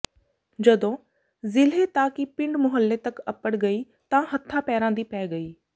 ਜਦੋਂ ਜ਼ਿਲ੍ਹੇ ਤਾਂ ਕੀ ਪਿੰਡ ਮੁਹੱਲੇ ਤਕ ਅੱਪੜ ਗਈ ਤਾਂ ਹੱਥਾਂ ਪੈਰਾਂ ਦੀ ਪੈ ਗਈ